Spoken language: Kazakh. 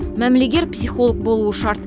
мәмілегер психолог болуы шарт